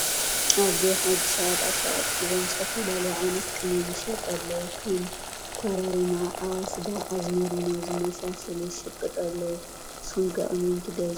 አቦይ ሐጂ ሸቀጣ ሸቀጥ ሒዞም ዝተፈላለዮ ዓይነታት ቅመም ይሸጡ አለው ከም፣ ኮረርማ ፣አወሰዳ ፣፣ ፣አዝመሪኖ ዝመሳሰለ ይሸቁጡ አለው ። ንሰኩም ከ ቅመም ትገዝእ ዶ ?